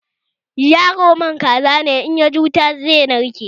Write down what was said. Yaro man kaza ne, idan yaji wuta sai ya narke